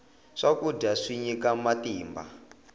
swakudya swi nyika matimba